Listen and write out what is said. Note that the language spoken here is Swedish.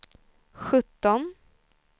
sjutton